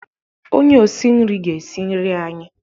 Onye osi nri ga-esi nri anyị.